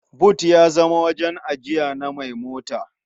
But ya zama wajen ajiya na mai mota.